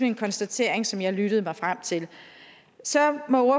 en konstatering som jeg lyttede mig frem til så må